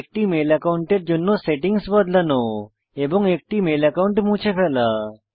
একটি মেল অ্যাকাউন্টের জন্য সেটিংস বদলানো এবং একটি মেল একাউন্ট মুছে ফেলা